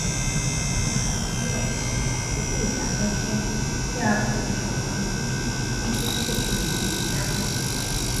mo ṣàtúnyèwò àwọn àkókò ìdàkẹjẹẹ tí a fohùn ṣòkan sí kí n tó ṣètò ìpè mi lálé